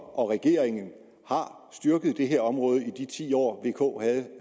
og regeringen har styrket det her område i de ti år vk